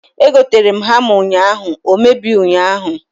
Egoterem hama ụnyaahụ, o mebie ụnyaahụ